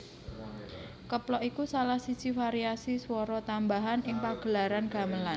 Keplok iku salah siji variasi swara tambahan ing pagelaran gamelan